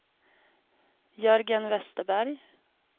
Jörgen Westerberg